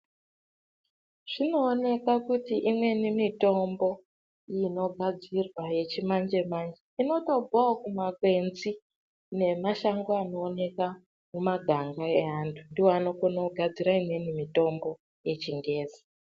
Zvinoonekwa kuti imweni mitombo unogadzirwa yechimanje manje inotobvawo kumakwenzi nemashango anooneka mumaganga evantu ndoo anogona kugadzira imwe mitombo yechingezi.